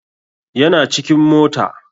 Yana cikin mota